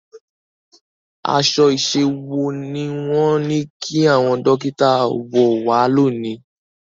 Aṣọ iṣẹ́ wo ni wọ́n ní kí àwọn Dókítà wọ̀ wá lónìí?